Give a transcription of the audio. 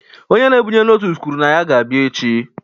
Onye na-ebunye noodles kwuru na ya ga-abịa echi